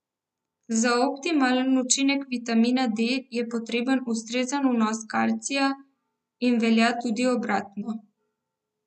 Za optimalen učinek vitamina D je potreben ustrezen vnos kalcija in velja tudi obratno.